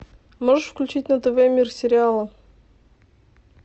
можешь включить на тв мир сериала